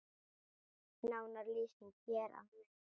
Nánari lýsing hér að neðan.